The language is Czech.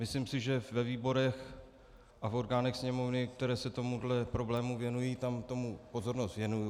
Myslím si, že ve výborech a v orgánech Sněmovny, které se tomuto problému věnují, tam tomu pozornost věnuji.